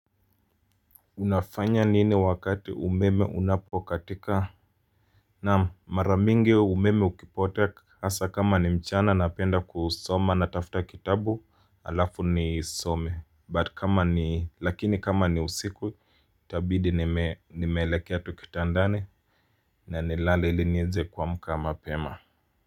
Unafanya nini wakati umeme unapokatika? Naam, mara mingi umeme ukipotea, hasa kama ni mchana napenda kusoma natafuta kitabu, alafu nisome. But kama ni, lakini kama ni usiku Itabidi nimeelekea tu kitandani, na nilale ili niweze kuamka mapema.